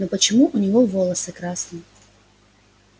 но почему у него волосы красные